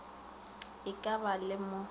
e ka ba le mo